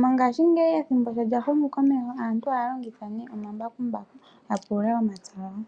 Mongashingeyi ethimbo sho lya humu komeho aantu ohaya longitha nee omambakumbaku ya pulule omapya gawo.